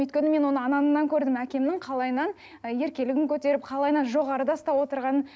өйткені мен оны анамнан көрдім әкемнің қалайынан ы еркелігін көтеріп қалайынан жоғарда ұстап отырғанын